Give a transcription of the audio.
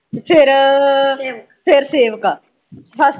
ਫੇਰ ਫੇਰ ਸੇਵਕ ਐ।